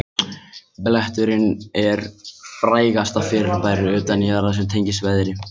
Bletturinn er frægasta fyrirbæri utan jarðar sem tengist veðri.